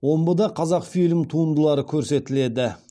омбыда қазақфильм туындылары көрсетіледі